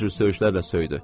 Hər cür söyüşlərlə söydü.